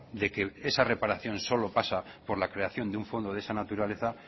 de que esa reparación solo pasa por la creación de un fondo de esa naturaleza